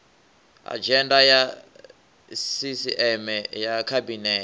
adzhenda ya sisieme ya khabinete